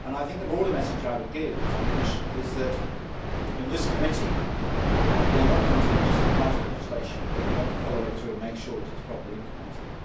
The broader message I would give to the Commission is that in this committee we are not content just to pass legislation, but we want to follow it through and make sure that it is properly implemented.